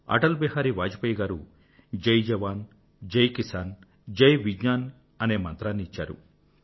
అటల్ బిహారీ వాజపేయి గారు జై జవాన్ జై కిసాన్ జై విజ్ఞాన్ అనే మంత్రాన్ని ఇచ్చారు